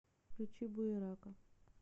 включи буерака